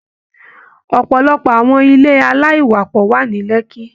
Ọpọlọpọ àwọn ilé alaiwapọ wa ní Lekki.